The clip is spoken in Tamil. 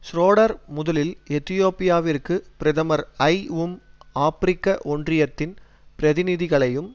ஷ்ரோடர் முதலில் எதியோப்பியாவிற்கு பிரதமர் ஐ உம் ஆபிரிக்க ஒன்றியத்தின் பிரதிநிதிகளையும்